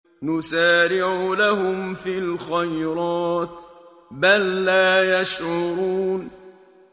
نُسَارِعُ لَهُمْ فِي الْخَيْرَاتِ ۚ بَل لَّا يَشْعُرُونَ